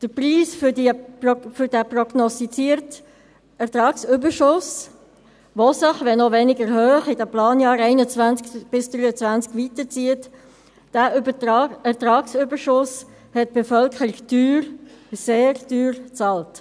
Den Preis für den prognostizierten Ertragsüberschuss, der sich, wenn auch weniger hoch, in den Planjahren 2021–2023 weiterzieht, hat die Bevölkerung teuer, sehr teuer bezahlt.